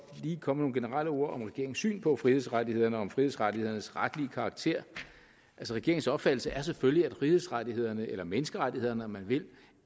lige komme generelle ord om regeringens syn på frihedsrettighederne og om frihedsrettighedernes retlige karakter regeringens opfattelse er selvfølgelig at frihedsrettighederne eller menneskerettighederne om man vil